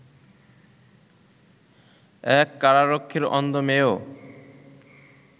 এক কারারক্ষীর অন্ধ মেয়েও